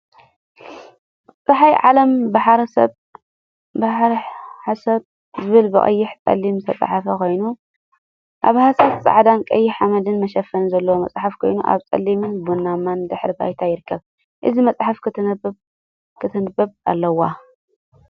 ጸሓይ ዓለም ፣ ባሕረ ሐሳብ ዝብሉ ብቀይሕን ጸሊምን ዝተጸሓፉ ኮይኖም ኣብ ሃሳስ ጻዕዳን ቀይሕ ሓመድን መሸፈኒ ዘለዎ መጽሓፍ ኮይኑ ኣብ ጽሊምን ቡናማን ድሕረ ባይታ ይርከብ። እዛ መጽሓፍ ክትንበብ ኣለዋ።